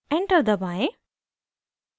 enter दबाएं